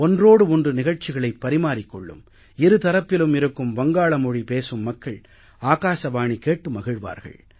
ஒன்றோடு ஒன்று நிகழ்ச்சிகளைப் பரிமாறிக் கொள்ளும் இருதரப்பிலும் இருக்கும் வங்காள மொழி பேசும் மக்கள் ஆகாசவாணி கேட்டு மகிழ்வார்கள்